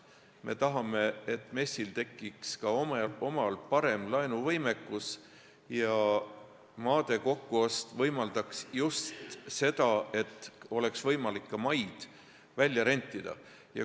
Me tahame, et MES-il tekiks ka omal parem laenuvõimekus ja maade kokkuost võimaldaks just seda, et oleks võimalik maid ka välja rentida.